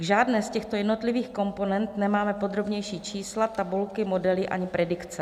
K žádné z těchto jednotlivých komponent nemáme podrobnější čísla, tabulky, modely ani predikce.